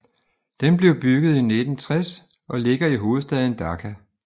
Den blev bygget i 1960 og ligger i hovedstaden Dhaka